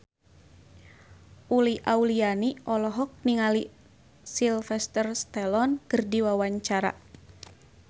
Uli Auliani olohok ningali Sylvester Stallone keur diwawancara